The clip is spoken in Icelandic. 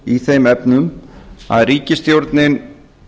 í þeim efnum að ríkisstjórnin